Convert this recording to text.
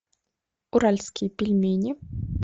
уральские пельмени